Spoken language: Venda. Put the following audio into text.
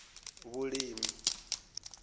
vhulimi